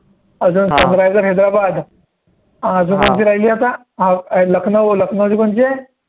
अजून सनरईसेस हैदराबाद अजून कोणची राहिली आता अं लखनऊ लखनऊची कोणची आहे